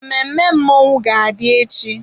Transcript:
Mmemme mmọnwụ ga-adị echi.